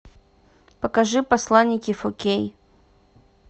покажи посланники фор кей